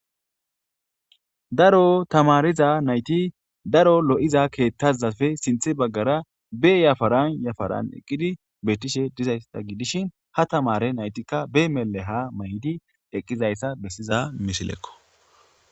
Daro thamaariza na7ithi daro lo7iza keeththaazappe sinththe baggaara be yafaran yafaran eqqidi dizeyssa gidishin ha thamaare na7ithikka be mellehaa maayidi eqqizayssa bessiza misilekkoo.